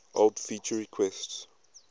old feature requests